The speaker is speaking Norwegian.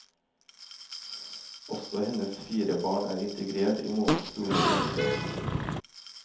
Også hennes fire barn er integrert i morens store vennekrets.